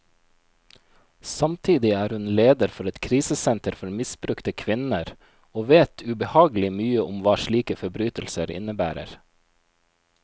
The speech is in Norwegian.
Samtidig er hun leder for et krisesenter for misbrukte kvinner, og vet ubehagelig mye om hva slike forbrytelser innebærer.